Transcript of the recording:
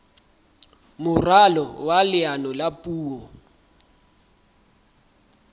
moralo wa leano la puo